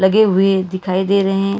लगे हुए दिखाई दे रहे हैं।